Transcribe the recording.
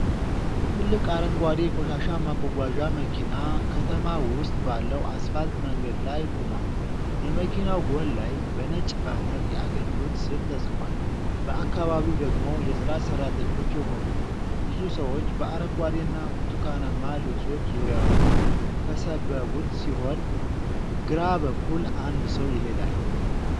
ትልቅ አረንጓዴ የቆሻሻ ማጓጓዣ መኪና ከተማ ውስጥ ባለው አስፋልት መንገድ ላይ ቆሟል። የመኪናው ጎን ላይ በነጭ ባነር የአገልግሎት ስም ተጽፏል። በአካባቢው ደግሞ የጽዳት ሠራተኞች የሆኑ ብዙ ሰዎች በአረንጓዴና ብርቱካናማ ልብሶች ዙሪያውን ከሰበቡት ሲሆን፤ ግራ በኩል አንድ ሰው ይሄዳል።